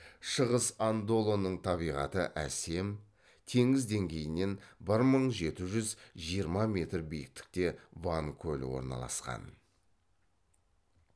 шығыс андолының табиғаты әсем теңіз деңгейінен бір мың жеті жүз жиырма метр биіктікте ван көлі орналасқан